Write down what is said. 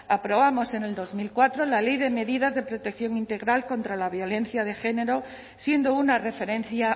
aprobamos en dos mil cuatro la ley de medidas de protección integral contra la violencia de género siendo una referencia